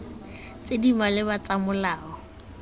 tse di maleba tsa molao